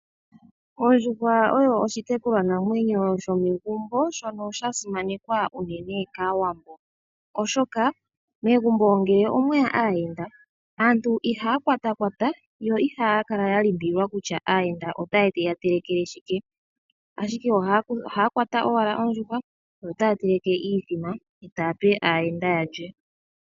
Ondjuhwa oyo oshitekulwa namwenyo shomegumbo shono sha simanekwa unene kAawambo, oshoka megumbo ngele omweya aayenda aantu ihaya kwatakwata yo ihaya kala ya limbililwa kutya aayenda otaye ya telekele shike ashike ohaya kwata owala ondjuhwa yo otaya teleke iithima ta yape aayenda yalye.